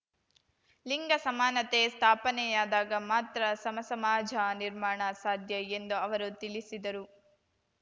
ಲಿಂಗ ಸಮಾನತೆ ಸ್ಥಾಪನೆಯಾದಾಗ ಮಾತ್ರ ಸಮ ಸಮಾಜ ನಿರ್ಮಾಣ ಸಾಧ್ಯ ಎಂದು ಅವರು ತಿಳಿಸಿದರು